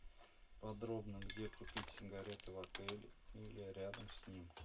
подробно где купить сигареты в отеле или рядом с ним